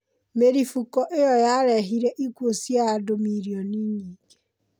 Mĩrifũko iyo yarehire ĩkuũ cia andũ milioni nyingĩ